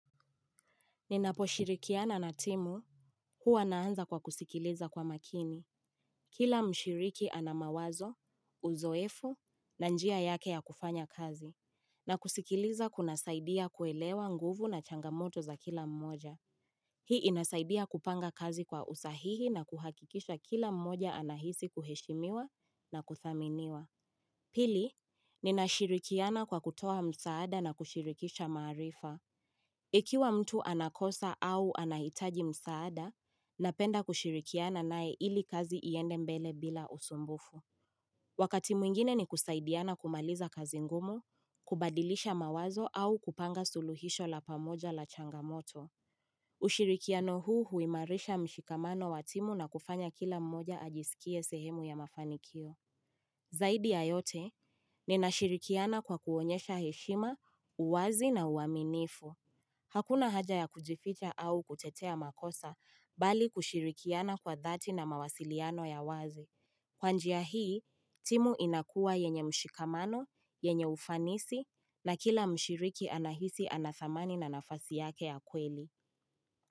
Ninapo shirikiana na timu, huwa naanza kwa kusikiliza kwa makini. Kila mshiriki anamawazo, uzoefu, na njia yake ya kufanya kazi. Na kusikiliza kuna saidia kuelewa nguvu na changamoto za kila mmoja. Hii inasaidia kupanga kazi kwa usahihi na kuhakikisha kila mmoja anahisi kuheshimiwa na kuthaminiwa. Pili, ninashirikiana kwa kutoa msaada na kushirikisha maarifa. Ikiwa mtu anakosa au anahitaji msaada, napenda kushirikiana naye ili kazi iende mbele bila usumbufu. Wakati mwingine ni kusaidiana kumaliza kazi ngumu, kubadilisha mawazo au kupanga suluhisho la pamoja la changamoto. Ushirikiano huu huimarisha mshikamano watimu na kufanya kila mmoja ajisikie sehemu ya mafanikio. Zaidi yayote, nina shirikiana kwa kuonyesha heshima, uwazi na uwaminifu. Hakuna haja ya kujifita au kuchetea makosa bali kushirikiana kwa dhati na mawasiliano ya wazi. Kwanjia hii, timu inakua yenye mshikamano, yenye ufanisi na kila mshiriki anahisi anathamani na nafasi yake ya kweli.